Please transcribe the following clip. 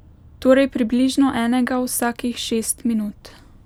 Torej približno enega vsakih šest minut.